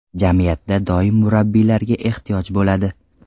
Jamiyatda doim murabbiylarga ehtiyoj bo‘ladi.